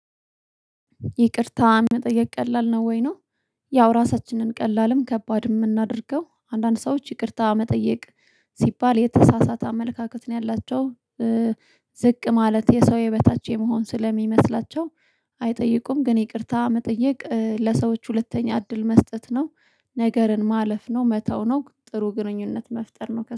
ይቅርታ መጠየቅ ቀላል ነው ወይ ነው? ያው ራሳችን ነን ቀላልም ከባድ የምናደርገው አንዳንድ ሰዎች ይቅርታ መጠየቅ ሲባል የተሳሳተ አመለካከት ነው ያላቸው። ዝቅ ማለት የሰው የበታች የመሆን ስለሚመስላቸው አይጠይቁም። ግን ይቅርታ መጠየቅ ለሰዎች ሁለተኛ እድል መስጠት ነው። ነገርን ማለፍ ነው መተው ነው ጥሩ ግንኙነት መፍጠር ነው